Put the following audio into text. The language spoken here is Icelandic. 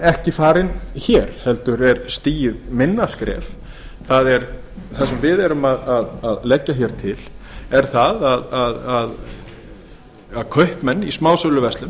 ekki farin hér heldur er stigið minna skref það sem við erum að leggja til er það að kaupmenn í smásöluverslun